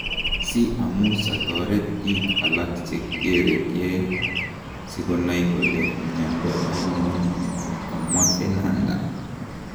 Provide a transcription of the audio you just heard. Si amuuch atoreet biik alak chekerekee sikonai kole myando ainon ," kamwaa Fernanda.